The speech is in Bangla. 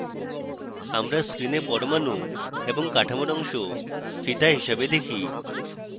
আমরা screen পরমাণু এবং কাঠামোর on ফিতা হিসাবে দেখি